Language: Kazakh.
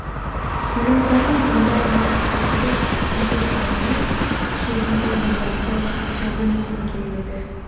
елорданың мұндай жетістіктерге жететініне кезінде елбасы кәміл сенген еді